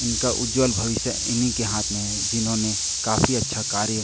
इनका उज्ज्वल भविष्य इन्हीं के हाथ में है जिन्होंने काफी अच्छा कार्य--